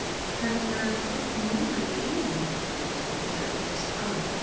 Ferðu ekki að verða fullnuma í iðninni, Kobbi, eftir öll þessi ár?